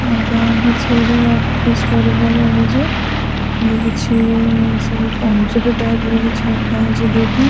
ଏଟା କିଛି ଅଫିସ ପରିକା ଲାଗୁଚି ଲାଗୁଛି ଦୁଇଟା।